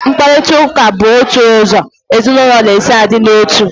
Mkparitauka bụ otu ụzọ ezinaụlọ si a dị n'otu